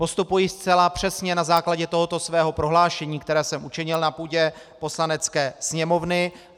Postupuji zcela přesně na základě tohoto svého prohlášení, které jsem učinil na půdě Poslanecké sněmovny.